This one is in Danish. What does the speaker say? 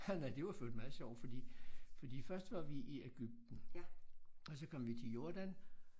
Nej det var for øvrigt meget sjovt fordi forid først var vi i Egypten og så kom vi til Jordan